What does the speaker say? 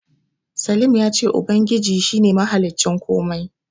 Slim ya ce Ubangiji shi ne mahaliccin komai.